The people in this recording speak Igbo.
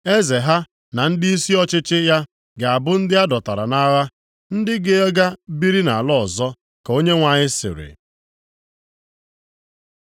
Eze ha na ndịisi ọchịchị ya ga-abụ ndị a dọtara nʼagha, ndị ga-aga biri nʼala ọzọ.” Ka Onyenwe anyị sịrị.